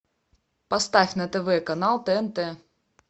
поставь на тв канал тнт